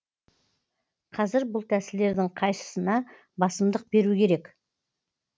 қазір бұл тәсілдердің қайсына басымдық беру керек